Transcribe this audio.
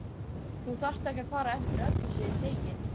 Þú þarft ekki að fara eftir öllu sem ég segi